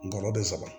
Ngɔlɔbɛ saba